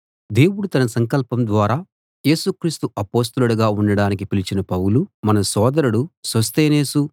దేవుడు తన సంకల్పం ద్వారా యేసు క్రీస్తు అపొస్తలుడుగా ఉండడానికి పిలిచిన పౌలు మన సోదరుడు సొస్తెనేసు